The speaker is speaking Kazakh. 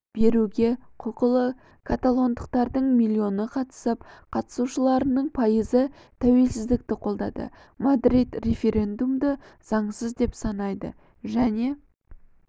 беруге құқықлы каталондықтардың миллионы қатысып қатысушыларының пайызы тәуелсіздікті қолдады мадрид референдумды заңсыз деп санайды және